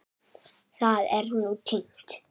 Það er nú týnt.